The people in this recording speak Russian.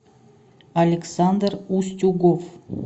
александр устюгов